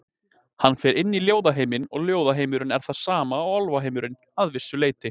Hann fer inn í ljóðheiminn og ljóðheimurinn er það sama og álfheimurinn, að vissu leyti.